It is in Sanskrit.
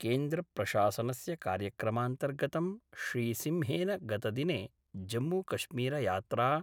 केन्द्रप्रशासनस्य कार्यक्रमान्तर्गतं श्रीसिंहेन गतदिने जम्मूकश्मीरयात्रा